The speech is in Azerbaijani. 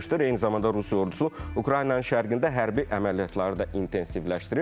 Eyni zamanda Rusiya ordusu Ukraynanın şərqində hərbi əməliyyatları da intensivləşdirib.